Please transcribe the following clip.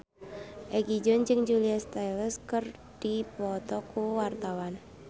Egi John jeung Julia Stiles keur dipoto ku wartawan